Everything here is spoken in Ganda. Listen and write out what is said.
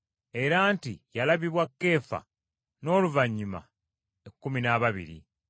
era nti yalabibwa Keefa n’oluvannyuma ekkumi n’ababiri.